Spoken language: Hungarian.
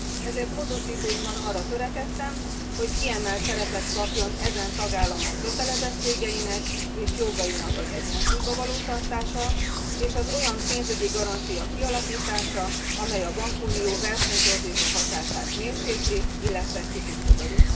Ezért módosítóimban arra törekedtem, hogy kiemelt szerepet kapjon ezen tagállamok kötelezettségeinek és jogainak egyensúlyban tartása, és egy olyan pénzügyi garancia kialakítása, amely a bankunió versenytorzító hatását mérsékli, illetve kiküszöböli.